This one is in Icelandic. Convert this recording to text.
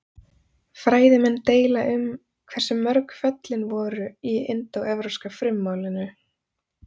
Fræðimenn deila um hversu mörg föllin voru í indóevrópska frummálinu.